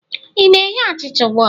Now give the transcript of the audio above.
ị na-eghe achịcha ugbu a?